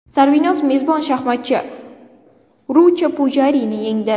Sarvinoz mezbon shaxmatchi Rucha Pujarini yengdi.